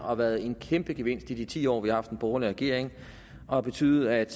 har været en kæmpe gevinst i de ti år vi har haft en borgerlig regering og har betydet at